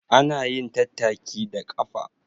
Ana yin tattaki da ƙafa